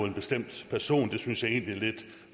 en bestemt person det synes jeg egentlig er lidt